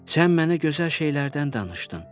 Sən mənə gözəl şeylərdən danışdın.